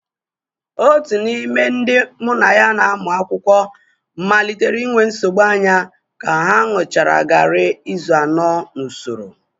Otu n'ime ndị mụ na ya na-amụ akwụkwọ malitere inwe nsogbu anya ka ha ṅụchara garri izu anọ n'usoro.